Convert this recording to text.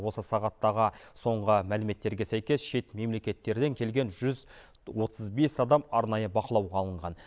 осы сағаттағы соңғы мәліметтерге сәйкес шет мемлекеттерден келген жүз отыз бес адам арнайы бақылауға алынған